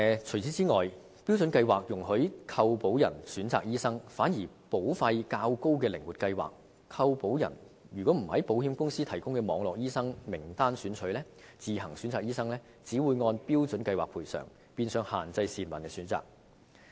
此外，標準計劃容許購保人選擇醫生，反而在保費較高的靈活計劃下，如果購保人不在保險公司提供的"網絡醫生"名單中選取醫生而自行選擇的話，便只會按標準計劃賠償，變相限制市民的選擇。